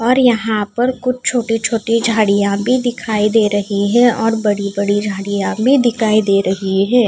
और यहां पर कुछ छोटी छोटी झाड़ियां भी दिखाई दे रही है और बड़ी बड़ी झाड़ियां भी दिखाई दे रही है।